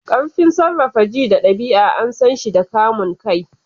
Ƙarfin sarrafa ji da ɗabi'a an san shi da kamun kai.